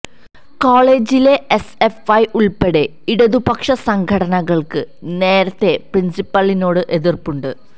കോളേജിലെ എസ്എഫ് ഐ ഉള്പ്പെടെ ഇടതുപക്ഷ സംഘടനകള്ക്ക് നേരത്തെ പ്രിന്സിപ്പലിനോട് എതിര്പ്പുണ്ട്